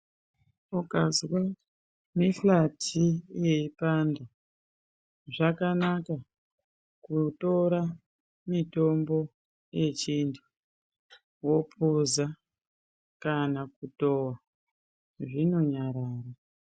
Ukazwa mihlati yeipanda, zvakanaka kutora mitombo yechintu wophuza kana kutowa, zvinonyarara.